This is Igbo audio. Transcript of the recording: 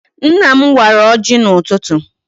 Nna m wara ọjị n'ụtụtụ.